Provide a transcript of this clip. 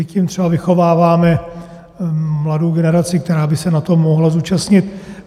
I tím třeba vychováváme mladou generaci, která by se na tom mohla zúčastnit.